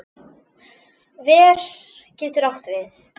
Ver getur átt við